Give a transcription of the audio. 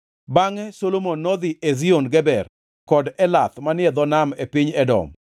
Bangʼe Solomon nodhi Ezion Geber kod Elath manie dho nam e piny Edom.